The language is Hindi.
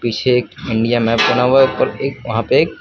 पीछे एक इंडिया मैप बना हुआ है और वहां पर एक--